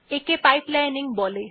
একে পাইপলাইনিং বলা হয়